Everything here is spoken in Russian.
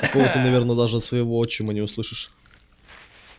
такого ты наверное даже от своего отчима не услышишь